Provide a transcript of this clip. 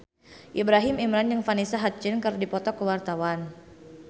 Ibrahim Imran jeung Vanessa Hudgens keur dipoto ku wartawan